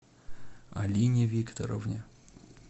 алине викторовне